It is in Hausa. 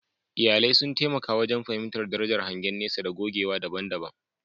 Iyalai sun taimaka wajen fahimtar darajar hangen nesa da gogewa daban-daban.